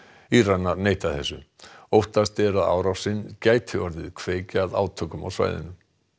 Íranar neita þessu óttast er að árásin gæti orðið kveikja að átökum á svæðinu